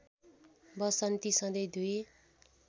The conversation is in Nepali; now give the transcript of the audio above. वसन्ती सधैँ दुई